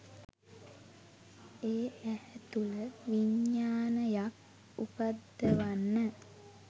ඒ ඇහැ තුළ විඤ්ඤාණයක් උපද්දවන්න